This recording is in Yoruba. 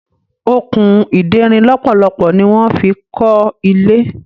Okùn ìderin lọpọlọpọ ní wan fí kò ilé.